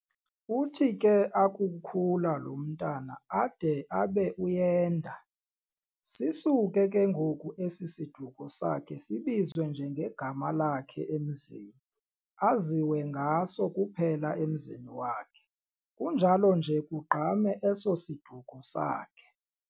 Uthi ke akukhula lo mntwana ade abe uyenda, sisuke ke ngoku esi siduko sakhe sibizwe nje ngegama lakhe emzini, aziwe ngaso kuphela emzini wakhe, kunjalo nje kugqame eso siduko sakhe.